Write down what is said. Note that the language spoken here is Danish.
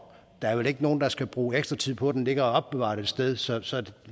der er vel ikke nogen der skal bruge ekstra tid på at den ligger og er opbevaret et sted så